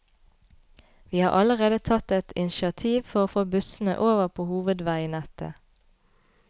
Vi har allerede tatt et initiativ for å få bussene over på hovedveinettet.